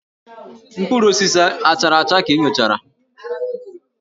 Mkpụrụ osisi a chara acha ka ị nyochara?